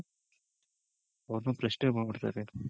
ಅವೃನ್ನ ಪ್ರಶ್ನೆ ಮಾಡ್ಬಿಡ್ತಾರೆ